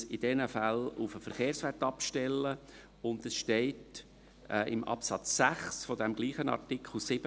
Man muss in diesen Fällen auf den Verkehrswert abstellen, und in Absatz 6 desselben Artikels 17 steht: